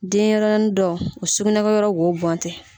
Denɲɛrɛnin dɔ o sugunɛ kɛ yɔrɔ wo bɔn tɛ.